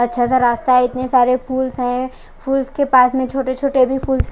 अच्छा सा रास्ता इतने सारे फूल्स है फुल के पास में छोटे छोटे भी फुल--